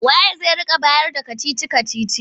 Wa ye zai rika bayarda kacici-kacicin?